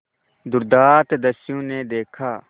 दुर्दांत दस्यु ने देखा